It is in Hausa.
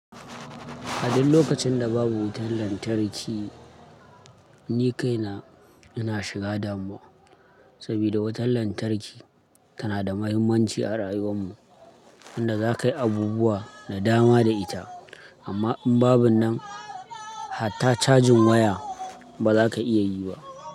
A duk lokacin da babu wutar lantarki, ni kaina ina shiga damuwa saboda wutar lantarki tana da muhimmanci a rayuwar mu, inda za ka yi abubuwa da dama da ita amma in babu nan har ta cajin waya ba za ka iya yi ba.